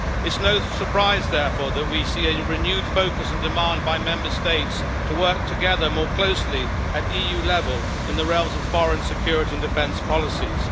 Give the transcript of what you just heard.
It is no surprise, therefore, that we see a renewed focus in demand by Member States to work together more closely at EU level in the realms of foreign security and defence policies.